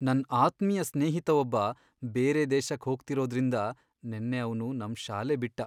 ನನ್ ಆತ್ಮೀಯ ಸ್ನೇಹಿತ ಒಬ್ಬ ಬೇರೆ ದೇಶಕ್ ಹೋಗ್ತಿರೋದ್ರಿಂದ ನೆನ್ನೆ ಅವ್ನು ನಮ್ ಶಾಲೆ ಬಿಟ್ಟ.